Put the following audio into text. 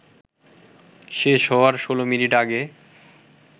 শেষ হওয়ার ১৬ মিনিট আগে